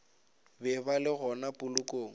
be ba le gona polokong